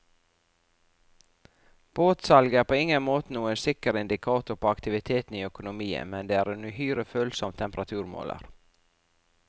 Båtsalget er på ingen måte noen sikker indikator på aktiviteten i økonomien, men det er en uhyre følsom temperaturmåler.